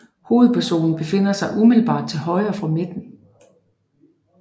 Hovedpersonen befinder sig umiddelbart til højre for midten